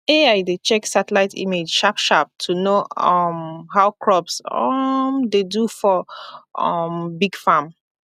ai dey check satellite image sharp sharp to know um how crops um dey do for um big farm